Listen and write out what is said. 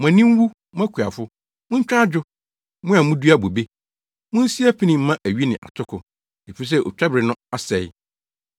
Mo ani nwu, mo akuafo, muntwa adwo, mo a mudua bobe; Munsi apini mma awi ne atoko, efisɛ otwabere no asɛe.